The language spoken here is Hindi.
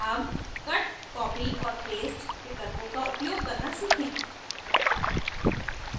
अब cut copy और paste विकल्पों का उपयोग करना सीखें